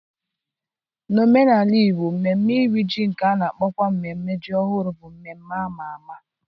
N'omenala Igbo, mmemme Iri Ji nke a na-akpọkwa mmemme ji ọhụrụ bụ mmemme ama ama.